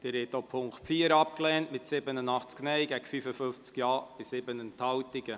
Sie haben die Ziffer 3 abgelehnt mit 101 Nein- gegen 42 Ja-Stimmen bei 5 Enthaltungen.